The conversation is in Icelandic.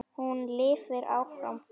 Hún lifir áfram.